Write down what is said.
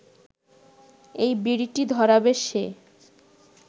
এই বিড়িটি ধরাবে সে